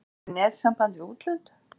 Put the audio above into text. Missum við netsamband við útlönd?